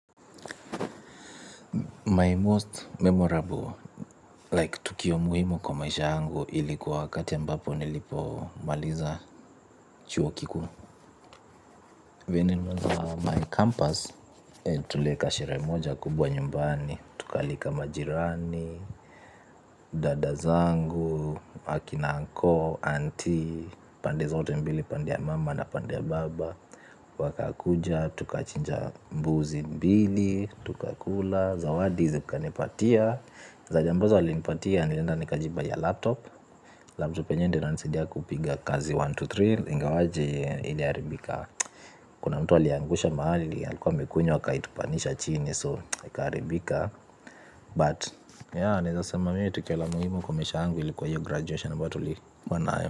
My most memorable, like tukio muhimu kwa maisha yangu ilikuwa wakati ambapo nilipomaliza chuo kikuu. Vyenye nilimaliza my campus, tulieka sherehe moja kubwa nyumbani, tukaalika majirani, dada zangu, wakina uncle, auntie, pande zote mbili pande ya mama na pande ya baba, wakakuja, tukachinja mbuzi mbili, tukakula, zawadi zika nipatia. Ambazo walinipatia nilienda nikajibuyia laptop laptop yenyewe ndo inanisaidia kupiga kazi mia moja na ishirini na tatu ingawaje iliharibika kuna mtu aliangusha mahali alikuwa amekunywa akaitupanisha chini so ikaharibika but ya naeza sema mmi tukio la muhimu kwa maisha yangu ilikuwa hiyo graduation ambayo tulikuwa nayo.